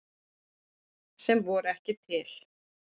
Sem ekki voru til.